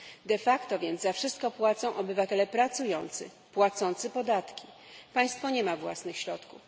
De facto więc za wszystko płacą obywatele pracujący, płacący podatki, państwo nie ma własnych środków.